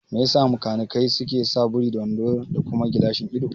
Mai yasa makanikai suke sa buri da wando da kuma gilashin ido?